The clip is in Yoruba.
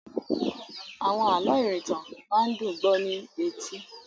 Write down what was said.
Àwọn àlọ́ ìrìntàn máa ń dùn ún gbó ní etí.